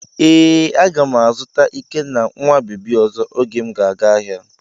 Ee, a ga m azụta ikenna nwa bebi ọzọ oge m ga-aga ahịa.